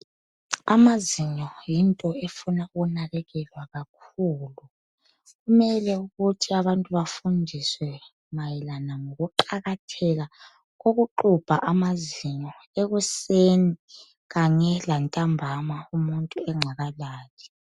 Amazinyo yinto efuna ukunakekelwa kakhulu .Kumele ukuthi abantu bafundiswe mayelana ngokuqakatheka kokuxubha amazinyo ekuseni kanye lantambama umuntu engakalali.